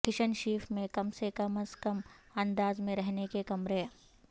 کھشنشیف میں کم سے کم از کم انداز میں رہنے کے کمرے